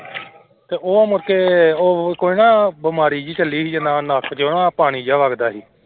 ਤੇ ਉਹ ਮੁੜਕੇ ਉਹ ਕੋਈ ਨਾ ਬਿਮਾਰੀ ਜਿਹੀ ਚੱਲੀ ਸੀ ਜਿੱਦਾਂ ਆਹ ਨੱਕ ਚੋਂ ਨਾ ਪਾਣੀ ਜਿਹਾ ਵੱਗਦਾ ਸੀ।